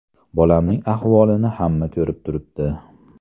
Bolamning ahvolini hamma ko‘rib turibdi.